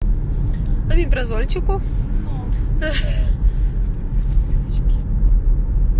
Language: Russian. помимо зорьку